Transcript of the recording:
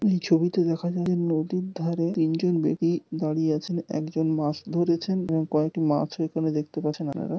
এই ছবিতে দেখা যাবে নদীর ধারে তিনজন বেদি দাঁড়িয়ে আছেন একজন মাছ ধরেছেন এবং কয়েকটি মাছ ও এখানে দেখতে পাচ্ছেন আপনারা।